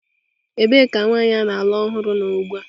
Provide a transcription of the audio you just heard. Ebee ka nwanyị a na-alụ ọhụrụ nọ ugbu a?